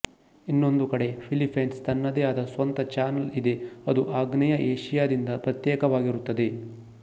ಇನ್ನೊಂದು ಕಡೆ ಫಿಲ್ಲೀಪೀನ್ಸ್ ತನ್ನದೇ ಆದ ಸ್ವಂತ ಚಾನಲ್ ಇದೆ ಅದು ಆಗ್ನೇಯ ಏಷಿಯಾದಿಂದ ಪ್ರತ್ಯೇಕವಾಗಿರುತ್ತದೆ